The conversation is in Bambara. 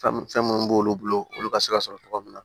Fɛn minnu b'olu bolo olu ka se ka sɔrɔ tɔgɔ min na